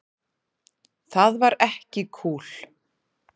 Það var ekki kúl.